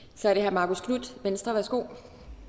så er det herre marcus knuth venstre værsgo